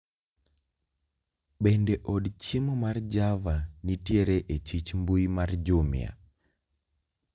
Bende od chiemo mar java nitiere echich mbui mar jumia